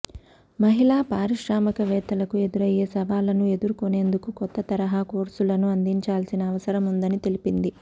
మహిళా పారిశ్రామికవేత్తలకు ఎదురయ్యే సవాళ్లను ఎదుర్కొనేందుకు కొత్త తరహా కోర్సులను అందించాల్సిన అవసరముందని తెలిపింది